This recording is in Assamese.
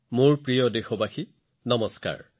মোৰ মৰমৰ দেশবাসীসকল নমস্কাৰ